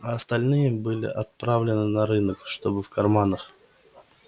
а остальные были отправлены на рынок чтобы в карманах